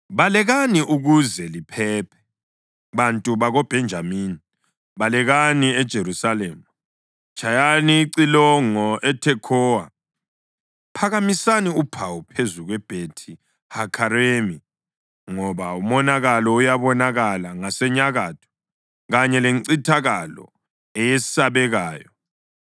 “Balekani ukuze liphephe, bantu bakoBhenjamini! Balekani eJerusalema! Tshayani icilongo eThekhowa! Phakamisani uphawu phezu kweBhethi-Hakheremi. Ngoba umonakalo uyabonakala ngasenyakatho, kanye lencithakalo eyesabekayo.